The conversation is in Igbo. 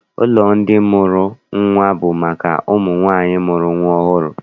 Ụlọ ndị mụrụ nnwa bụ maka ụmụ nwaanyị mụrụ nnwa ọhụrụ.